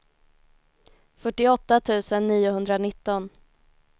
fyrtioåtta tusen niohundranitton